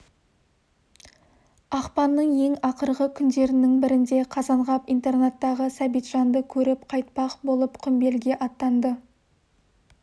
ақпанның ең ақырғы күндерінің бірінде қазанғап интернаттағы сәбитжанды көріп қайтпақ болып құмбелге аттанды